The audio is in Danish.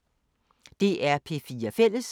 DR P4 Fælles